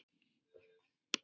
Sumar og sól.